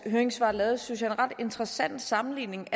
høringssvar lavet en synes jeg ret interessant sammenligning